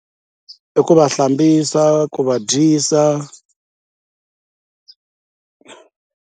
I ku va hlambisa ku va dyisa.